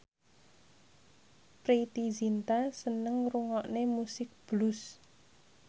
Preity Zinta seneng ngrungokne musik blues